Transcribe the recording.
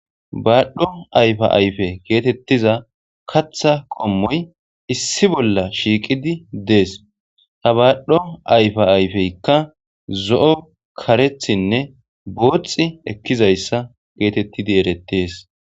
baadhdho ayfa ayfe geetettiza katha qommoy issi bolla shiiqidi dees ta baadhdho ayfa ayfeykka zo7o karethinne booxi ekkizayssa geetettidi erettees